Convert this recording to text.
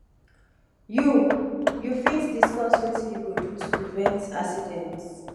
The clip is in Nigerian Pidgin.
you you fit diescuss wetin you go do to prevent accidents